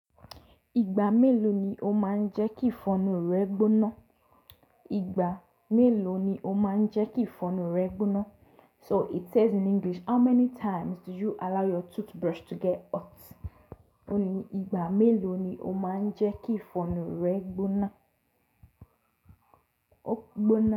Ìgbà mélòó ni o máa ń jẹ́ kí ìfọnu rẹ gbóná? Ìgbà mélòó ni o máa ń jẹ́ kí ìfọnu rẹ gbóná? So it says in English, how many times do you allow your toothbrush to get hot? Ó ní ìgbà mélòó ni o máa ń jẹ́ kí ìfọnu rẹ gbóná? Ó gbóná.